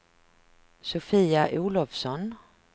Sofia Olovsson